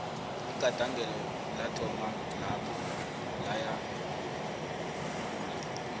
igandelelo lathoma lapho laya ngokuhula